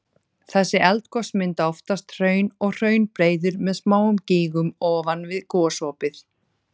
Þessi eldgos mynda oftast hraun og hraunbreiður með smáum gígum ofan við gosopið.